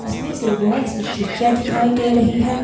इसमें से बहोत सी खिड़कियाँ दिखाई दे रही हैं।